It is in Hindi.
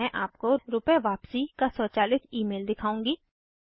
मैं आपको रुपए वापसी का स्वचालित ईमेल दिखाउंगी